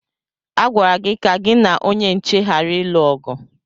Agwara gị ka gị na onye nche ghara ịlụ ọgụ!